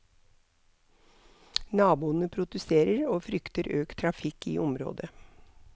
Naboene protesterer, og frykter økt trafikk i området.